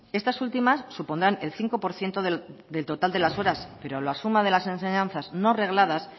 estas últimas supondrán el cinco por ciento del total de las horas pero la suma de las enseñanzas no regladas